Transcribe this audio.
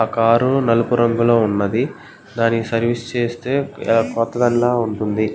ఆ కార్ నలుపు రంగులో ఉంది. దానికి సర్వీస్ చేస్తే క్రొత్తదాన్నిల ఉంటుంది.